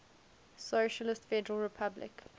socialist federal republic